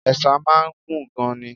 Ẹ̀sà máa ń gùn gan-an ni.